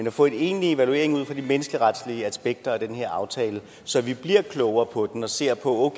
at få en egentlig evaluering af de menneskeretlige aspekter af den her aftale så vi bliver klogere på den og ser på